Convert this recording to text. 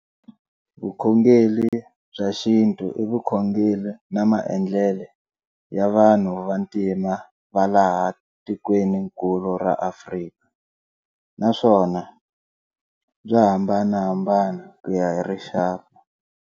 Vukhongeri bya xintu ivukhongeri na maendlele ya vanhu va ntima valaha tikweinnkulu ra Afrika, naswona bya hambanahambana kuya hi rixaka.